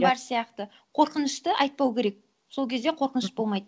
иә бар сияқты қорқынышты айтпау керек сол кезде қорқыныш болмайды